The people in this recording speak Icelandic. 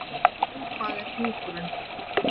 Hvað er hjúkrun?